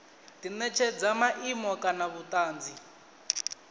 di netshedza maimo kana vhutanzi